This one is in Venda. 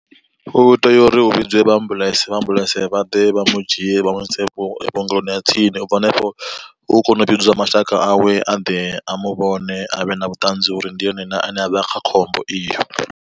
U tea uri hu vhidzwe vha ambuḽentse vha ambuḽentse vha ḓe vha mu dzhie vha muise vhuongeloni ha tsini, u bva hanefho hu kone u vhidziwa mashaka awe a ḓe a muvhona avhe na vhuṱanzi uri ndi ene na ane avha kha khombo iyo.